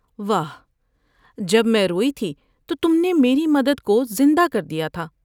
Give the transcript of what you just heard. واہ جب میں روئی تھی تو تم نے میری مد دکوزندہ کر دیا تھا ۔